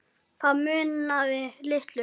Það munaði litlu.